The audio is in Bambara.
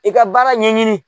I ka baara ɲɛɲini.